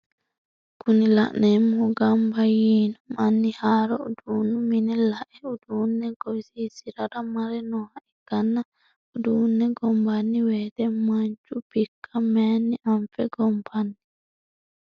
Kuni la'neemohu gamba yiino manni haaro uduunu mine la"e uduunne gowisiisirara mare nooha ikkanna uduunne gonbanni woyiite manchu bikka mayiini anfe gonbanni?